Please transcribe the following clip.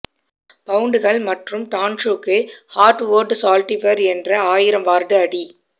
பவுண்டுகள் மற்றும் டன்ஸுக்கு ஹார்ட்வொட் சால்டிபர் என்ற ஆயிரம் வார்டு அடி